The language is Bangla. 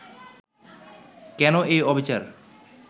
কেন এই অবিচার